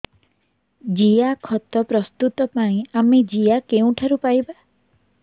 ଜିଆଖତ ପ୍ରସ୍ତୁତ ପାଇଁ ଆମେ ଜିଆ କେଉଁଠାରୁ ପାଈବା